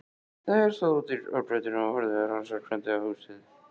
Þeir stóðu úti á götunni og horfðu rannsakandi á húsið.